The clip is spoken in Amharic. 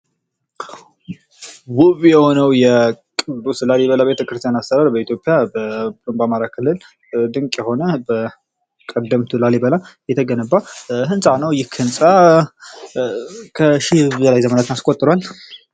ውብ የሆነው ቅዱስ ላሊበላ ቤተክርስቲያን አሰራር በኢትዮጵያ ብሎም በአማራ ክልል ድንቅ የሆነ በቀደምት ላሊበላ የተገነባ ህንፃ ነው። ይክህንፃ ከሺ በላይ ዘመናትን አስቆጥሯል።